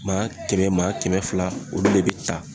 Maa kɛmɛ maa kɛmɛ fila olu le be ta